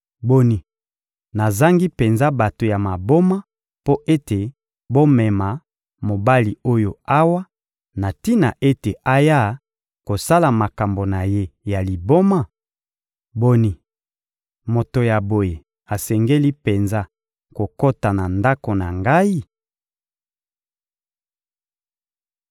Boni, nazangi penza bato ya maboma mpo ete bomema mobali oyo awa, na tina ete aya kosala makambo na ye ya liboma? Boni, moto ya boye asengeli penza kokota na ndako na ngai?»